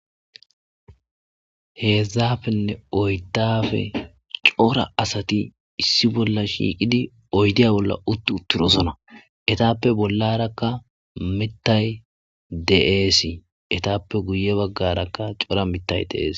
heedzdzafenne oyddafe cora asati issi bolla shiiqidi oydiya bolla utti utturosona etappe bollarakka mettay de7eesii etappe guye baggarakka cora mettay deees